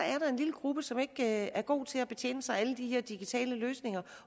lille gruppe som ikke er god til at betjene sig af alle de her digitale løsninger